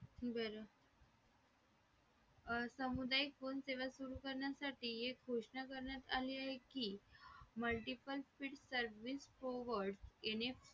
बरं समुदाय फोन सेवा सुरू करण्यासाठी एक गोष्ट करण्यात आली आहे की multiple speed service forward MA